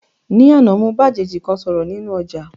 Ní àná, mo bá àjèjì kan sọ̀rọ̀ nínú ọ̀jà